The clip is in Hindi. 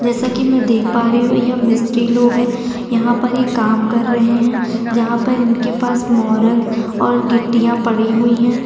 जैसे कि मैं देख पा रही हूं यह मिस्त्री लोग यहां पर ये काम कर रहे हैं जहां पर इनके पास मोरन और गिट्टियां पड़ी हुई है।